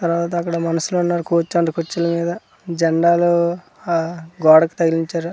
తరువాత అక్కడ మనుషులు ఉన్నారు కోచ్ అండ్ కుర్చిల మీద జెండాలు ఆ గోడకి తగిలించారు.